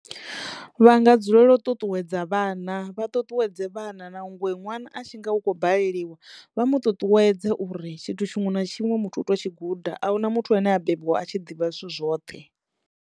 Vha nga dzulela u ṱuṱuwedza vhana vha ṱuṱuwedze vhana nangwe ṅwana a tshi nga u kho baleliwa vha mu ṱuṱuwedze uri tshithu tshiṅwe na tshiṅwe muthu u to tshi guda ahuna muthu ane a bebiwa a tshi ḓivha zwithu zwoṱhe.